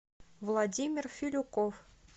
владимир филюков